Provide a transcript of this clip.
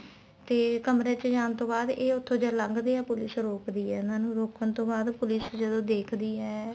ਤੇ ਕਮਰੇ ਚ ਜਾਣ ਤੋਂ ਬਾਅਦ ਇਹ ਉੱਥੋ ਜਦੋਂ ਲੱਗਦੇ ਆ police ਰੋਕਦੀ ਆ ਇਹਨਾ ਨੂੰ ਰੋਕਣ ਤੋ ਬਾਅਦ police ਜਦੋਂ ਦੇਖਦੀ ਏ